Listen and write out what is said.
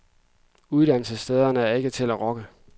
Uddannelsesstederne er ikke til at rokke.